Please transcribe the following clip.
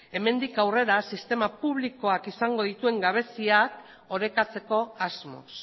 hemendik aurrera sistema publikoak izango dituen gabeziak orekatzeko asmoz